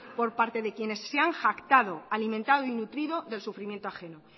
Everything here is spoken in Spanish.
por quienes se han jactado alimentado y nutrido del sufrimiento ajeno